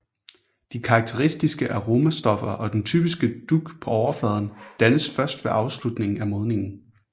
De karakteristiske aromastoffer og den typiske dug på overfladen dannes først ved afslutningen af modningen